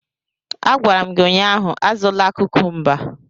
A gwara m gị ụnyaahụ, azụla kukumba!